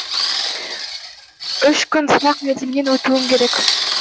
үш күн сынақ мерзімінен өтуім керек